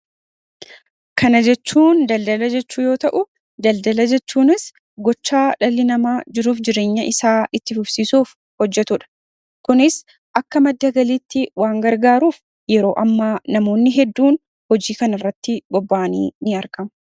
Kana jechuun daldala jechuu yoo ta'u daldala jechuunis gochaa dhalli namaa jiruuf jireenya isaa itti FuFsiisuuf hojjetuudha. Kunis akka madda galiitti waan gargaaruuf yeroo ammaa namoonni hedduun hojii kana irratti bobba'anii in argama.